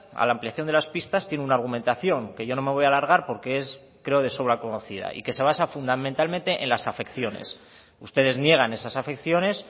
a la ampliación de las pistas tiene una argumentación que yo no me voy a alargar porque es creo de sobra conocida y que se basa fundamentalmente en las afecciones ustedes niegan esas afecciones